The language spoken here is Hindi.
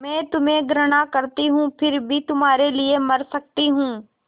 मैं तुम्हें घृणा करती हूँ फिर भी तुम्हारे लिए मर सकती हूँ